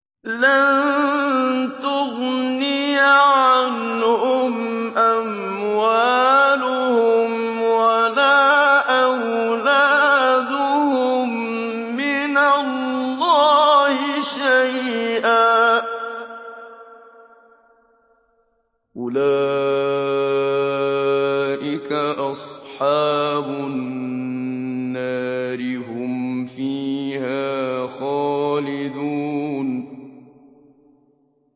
لَّن تُغْنِيَ عَنْهُمْ أَمْوَالُهُمْ وَلَا أَوْلَادُهُم مِّنَ اللَّهِ شَيْئًا ۚ أُولَٰئِكَ أَصْحَابُ النَّارِ ۖ هُمْ فِيهَا خَالِدُونَ